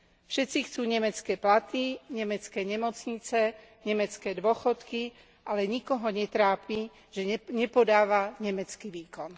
Všetci chcú nemecké platy, nemecké nemocnice, nemecké dôchodky, ale nikoho netrápi, že nepodáva nemecký výkon.